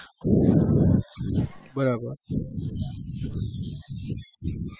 બરાબર